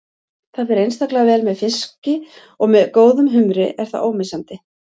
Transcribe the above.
Það fer einstaklega vel með fiski og með góðum humri er það ómissandi.